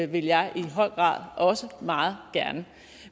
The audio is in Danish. vil jeg i høj grad også meget gerne